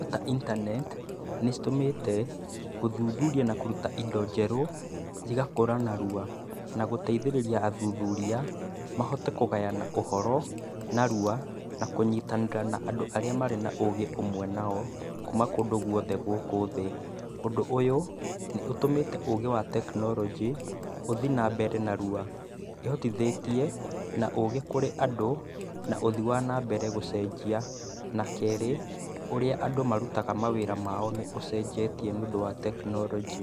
ta internet nĩcitũmĩte, gũthuthuria na kũruta indo njerũ, igakũra narua. Na gũteithĩrĩria athuthuria, mahote kũgayana ũhoro, narua, na kũnyitanĩra na andũ arĩa marĩ na ũgĩ ũmwe nao, kuma kũndũ guothe gũkũ thĩ. Ũndũ ũyũ, nĩũtũmĩte, ũgĩ wa tekinoronjĩ, ũthiĩ nambere narua. Ĩhotithĩtie, na ũgĩ kũrĩ andũ, na ũthii wa nambere gũcenjia. Na kerĩ, ũrĩa andũ marutaga mawĩra mao nĩũcenjetie nĩũndũ wa tekinoronjĩ.